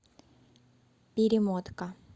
перемотка